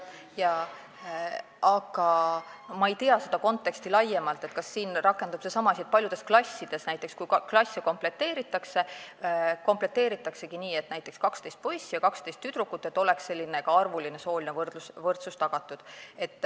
Aga ma ei tea seda konteksti laiemalt, kas siin rakendub seesama asi, et kui klasse komplekteeritakse, siis paljusid klasse komplekteeritaksegi nii, et on näiteks 12 poissi ja 12 tüdrukut, et oleks ka arvuline sooline võrdsus tagatud.